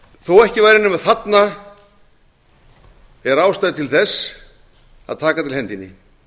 þó ekki væri nema þarna er ástæða til þess að taka til hendinni